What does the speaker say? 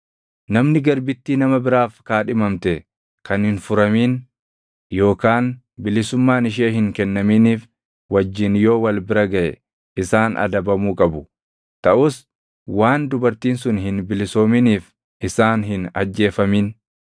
“ ‘Namni garbittii nama biraaf kaadhimamte kan hin furamin yookaan bilisummaan ishee hin kennaminiif wajjin yoo wal bira gaʼe isaan adabamuu qabu; taʼus waan dubartiin sun hin bilisoominiif isaan hin ajjeefamin.